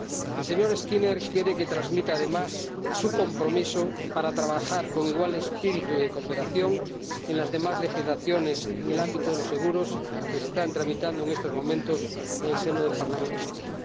El señor Skinner quiere que transmita además su compromiso para trabajar con igual espíritu de cooperación en las demás legislaciones en el ámbito de los seguros que se están tramitando en estos momentos en el Parlamento Europeo.